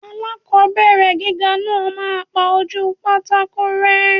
Aláàkọ́bẹ̀rẹ̀ gíga náà máa pa ojúu pátákó rẹ́.